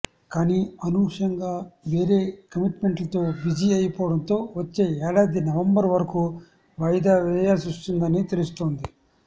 కానీ అనూహ్యంగా వేరే కమిట్మెంట్లతో బిజీ అయిపోవడంతో వచ్చే ఏడాది నవంబర్ వరకూ వాయిదా వేయాల్సొచ్చిందని తెలుస్తోంది